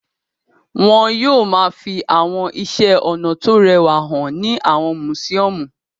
Wọn yóò máa fi àwọn iṣẹ́-ọnà tó rẹwà hàn ní àwọn mùsíọ́mù.